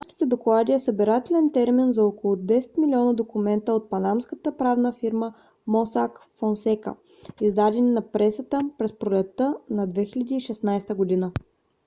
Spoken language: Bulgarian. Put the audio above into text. панамските доклади е събирателен термин за около 10 милиона документа от панамската правна фирма mossack fonseca издадени на пресата през пролетта на 2016 г